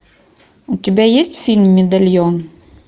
у тебя есть фильм медальон